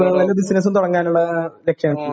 ഓ ബിസിനസും തുടങ്ങാനുള്ള ലക്ഷ്യമാണ്.